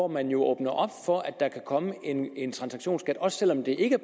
man åbner op for at der kan komme en transaktionsskat også selv om det ikke